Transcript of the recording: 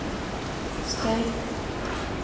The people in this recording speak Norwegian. støy